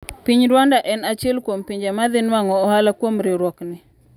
Piny Rwanda en achiel kuom pinje madhi nuang'o ohala kuom riwruokni.